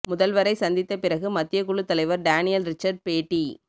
முதல்வரை சந்தித்த பிறகு மத்திய குழு தலைவர் டேனியல் ரிச்சர்ட் பேட்டி